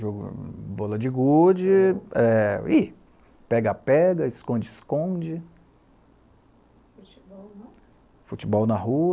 Jogando, bola de gude, e, pega-pega, esconde-esconde, futebol não? futebol na rua